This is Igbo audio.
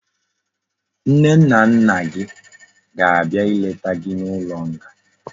Nne na nna gi ga abia leta gi na ulo nga